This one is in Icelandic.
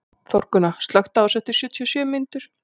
Þórgunna, slökktu á þessu eftir sjötíu og sjö mínútur.